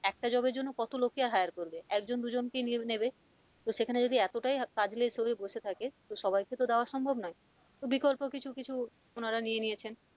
একটা job এর জন্য কত লোককে hier করবে একজন দুজনকে নিয়েনেবে তো সেখানে যদি এতটাই কাজ less হয়ে বসে থাকে তো সবাইকে তো দেওয়া সম্ভব নয় বিকল্প কিছু কিছু ওনারা নিয়ে নিয়েছেন,